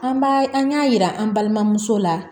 An b'a an y'a yira an balimamuso la